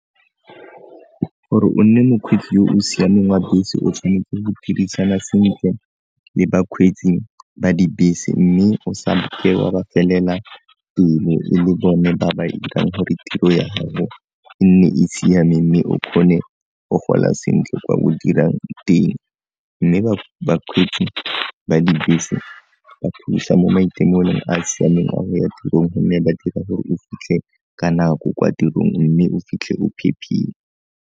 Gore o nne mokgweetsi yo o siameng wa bese o tshwanetse go phedisana sentle le bakgweetsi ba dibese mme o sa wa ba felela le bone ba ba irang gore tiro ya gago e nne e siame mme o kgone go gola sentle kwa o dirang teng, mme bakgweetsi ba dibese ba mo maitemogelong a a siameng a go ya tirong mme ba dira gore o fitlhe ka nako kwa tirong mme o fitlhe o phephile.